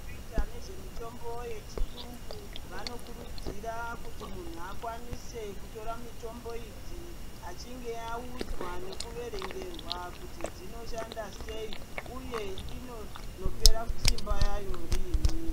Vanoita nezvemitombo yechirungu vanokurudzirwa kuti muntu akwanise kutora mitombo idzi vachinge vaudzwe veiverengerwa kuti dzinoshanda sei uye inoperera Simba rayo rini.